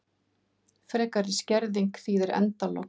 Frekari skerðing þýðir endalok